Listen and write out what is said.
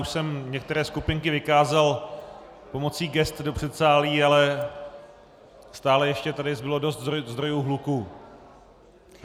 Už jsem některé skupinky vykázal pomocí gest do předsálí, ale stále ještě tu zbylo dost zdrojů hluku.